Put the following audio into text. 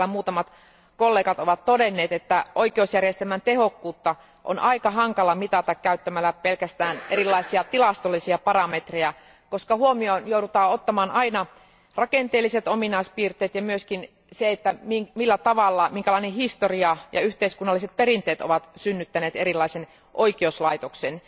Niin kuin täällä muutamat kollegat ovat todenneet, oikeusjärjestelmän tehokkuutta on aika hankala mitata käyttämällä pelkästään erilaisia tilastollisia parametrejä, koska huomioon joudutaan ottamaan aina rakenteelliset ominaispiirteet ja myös se, millä tavalla, minkälainen historia ja yhteiskunnalliset perinteet ovat synnyttäneet erilaisen oikeuslaitoksen.